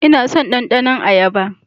Ina son ɗandanon ayaba.